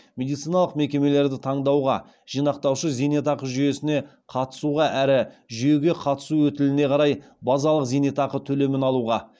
медициналық мекемелерді таңдауға жинақтаушы зейнетақы жүйесіне қатысуға әрі жүйеге қатысу өтіліне қарай базалық зейнетақы төлемін алуға